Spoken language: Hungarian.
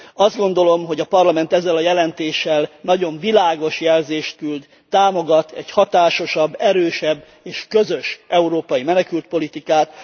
Azt gondolom, hogy a Parlament ezzel a jelentéssel nagyon világos jelzést küld, támogat egy hatásosabb, erősebb és közös európai menekültpolitikát.